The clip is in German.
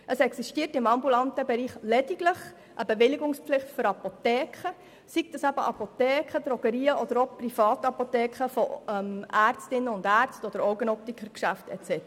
Im ambulanten Bereich besteht lediglich eine Bewilligungspflicht für Apotheken und Drogerien, für Privatapotheken von Ärztinnen und Ärzten, für Optikergeschäfte und so weiter.